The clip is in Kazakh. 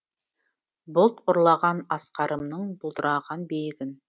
бұлт ұрлаған асқарымның бұлдыраған биігін